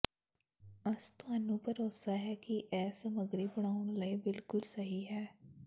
ਅਸ ਤੁਹਾਨੂੰ ਭਰੋਸਾ ਹੈ ਕਿ ਇਹ ਸਮਗਰੀ ਬਣਾਉਣ ਲਈ ਬਿਲਕੁਲ ਸਹੀ ਹੈ